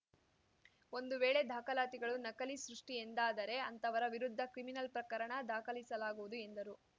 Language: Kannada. ಒಂದು ವೇಳೆ ದಾಖಲಾತಿಗಳು ನಕಲಿ ಸೃಷ್ಟಿಎಂದಾದರೆ ಅಂತವರ ವಿರುದ್ಧ ಕ್ರಿಮಿನಲ್‌ ಪ್ರಕರಣ ದಾಖಲಿಸಲಾಗುವುದು ಎಂದರು